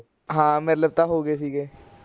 ਮਿਲ ਤਾਂ ਹੋ ਗਏ ਸੀਗੇ